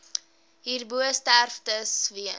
hierbo sterftes weens